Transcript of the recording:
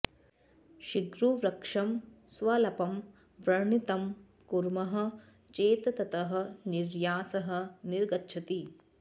शिग्रुवृक्षं स्वल्पं व्रणितं कुर्मः चेत् ततः निर्यासः निर्गच्छति